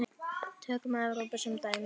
Tökum Evrópu sem dæmi.